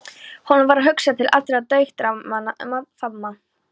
Honum varð hugsað til allra dagdraumanna um að faðma